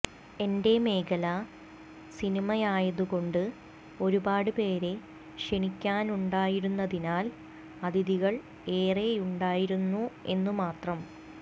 എന്റെ മേഖല സിനിമയായതുകൊണ്ട് ഒരുപാട് പേരെ ക്ഷണിക്കാനുണ്ടായിരുന്നതിനാൽ അതിഥികൾ ഏറെയുണ്ടായിരുന്നു എന്നു മാത്രം